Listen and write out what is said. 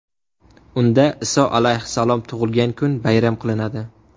Unda Iso alayhissalom tug‘ilgan kun bayram qilinadi.